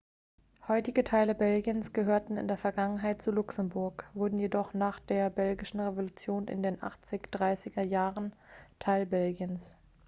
heutige teile belgiens gehörten in der vergangenheit zu luxemburg wurden jedoch nach der belgischen revolution in den 1830ern teil belgiens